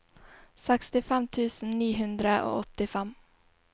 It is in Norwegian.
sekstifem tusen ni hundre og åttifem